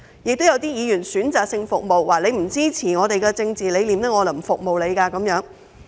此外，有些議員則選擇性服務，說市民不支持他們的政治理念便不服務市民。